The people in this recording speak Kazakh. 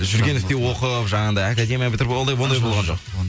жүргенівте оқып жаңағындай академия бітіріп ондай болған жоқ